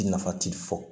I nafa ti fɔ